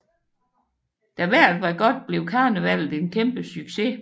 Da vejret var godt blev karnevallet en kæmpe succes